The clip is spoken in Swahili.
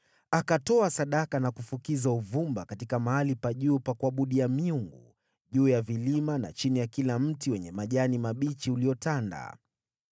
Akatoa sadaka na kufukiza uvumba katika mahali pa juu pa kuabudia miungu, juu ya vilima, na chini ya kila mti uliotanda.